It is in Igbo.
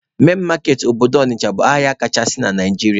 Main market obodo Ọnịcha bụ ahịa kachasị na Naijiria.